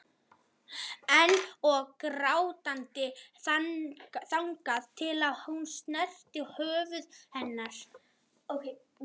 Ein og grátandi þangað til hún snerti höfuð hennar.